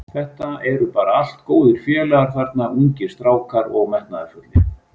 Þetta eru bara allt góðir félagar þarna, ungir strákar og metnaðarfullir.